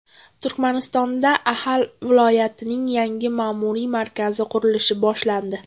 Turkmanistonda Axal viloyatining yangi ma’muriy markazi qurilishi boshlandi.